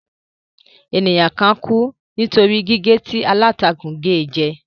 Ènìyàn kan kú nítorí gígé tí aláǹtakù ge jẹ.